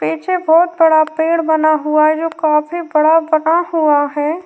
पीछे बहुत बड़ा पेड़ बना हुआ है जो काफी बड़ा बना हुआ है।